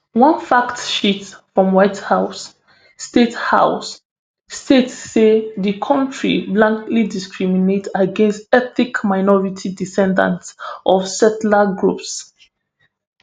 one fact sheet from white house state house state say di kontri blatantly discriminate against ethnic minority descendants of settler groups